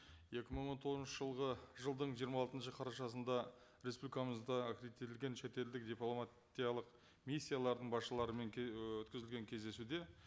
екі мың он тоғызыншы жылғы жылдың жиырма алтыншы қарашасында республикамызда аккредиттелген шетелдік дипломатиялық миссиялардың басшыларымен і өткізілген кездесуде